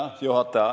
Hea juhataja!